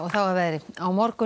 að veðri á morgun